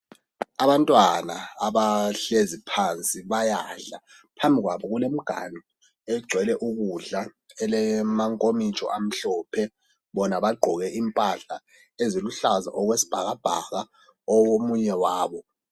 Abantwana abahlezi phansi bayadla phambi kwabo kulemganu egcwele ukudla lamankomitsho amhlophe bona bagqoke impahla eziluhlaza okwesibhakabhaka omunye wabo.